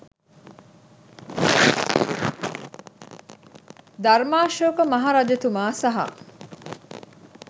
ධර්මාශෝක මහරජතුමා සහ